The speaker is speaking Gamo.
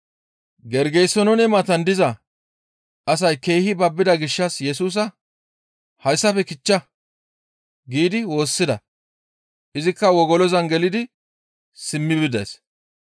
Gergesenoone matan diza asay keehi babbida gishshas Yesusa, «Hayssafe kichcha!» giidi woossida; izikka wogolozan gelidi simmi bides.